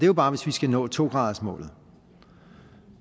jo bare hvis vi skal nå to gradersmålet